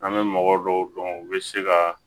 An bɛ mɔgɔ dɔw dɔn u bɛ se ka